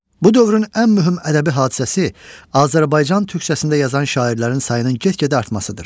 Bu dövrün ən mühüm ədəbi hadisəsi Azərbaycan türkcəsində yazan şairlərin sayının get-gedə artmasıdır.